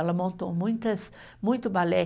Ela montou muitas, muito balé.